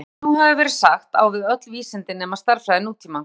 þetta sem nú hefur verið sagt á við öll vísindi nema stærðfræði nútímans